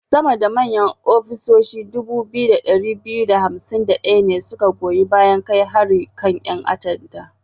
Sama da manyan hafsoshi 2251 ne su ka goyi bayan kai harin kan 'yan ta'adda.